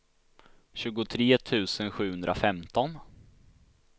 tjugotre tusen sjuhundrafemton